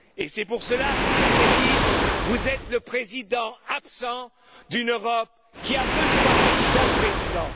C'est pour cela que je voudrais dire que vous êtes le président absent d'une Europe qui a besoin d'un président.